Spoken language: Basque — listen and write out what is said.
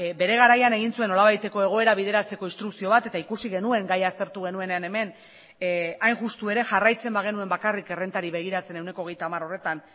bere garaian egin zuen nolabaiteko egoera bideratzeko instrukzio bat eta ikusi genuen gaia aztertu genuenean hemen hain justu ere jarraitzen bagenuen bakarrik errentari begiratzen ehuneko hogeita hamar horretan